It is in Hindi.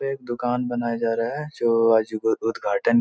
एक दूकान बनाया जा रहा है जो आज उद्धघाटन --